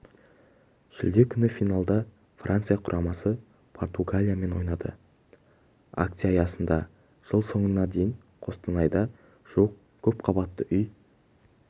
шілде күні финалда франция құрамасы португалиямен ойнайды акция аясында жыл соңына дейін қостанайда жуық көпқабатты үй